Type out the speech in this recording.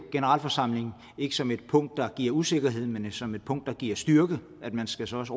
generalforsamlingen som et punkt der giver usikkerhed men som et punkt der giver styrke og man skal så også